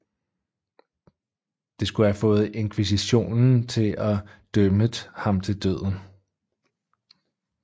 Det skulle have fået inkvisitionen til at dømmet ham til døden